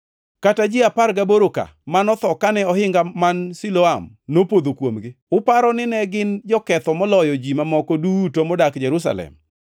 Kata ji apar gaboro ka manotho kane ohinga man Siloam nopodho kuomgi, uparo ni ne gin joketho moloyo ji mamoko duto madak e Jerusalem?